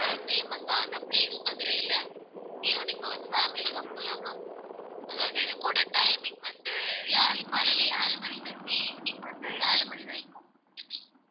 ரொம்ப famous ஆன place மதுரையில, இங்கேயும் நீங்க வந்து families ஆ போலாம் ma'am அதாவது இது கூட timing வந்து ஏழு காலையில ஏழு மணியில இருந்து evening வந்து ஏழு மணி வரைக்கும்